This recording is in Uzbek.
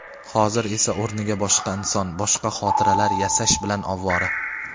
Hozir esa o‘rniga boshqa inson boshqa xotiralar yasash bilan ovvora.